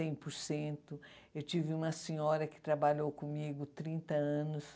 cem por cento. Eu tive uma senhora que trabalhou comigo trinta anos.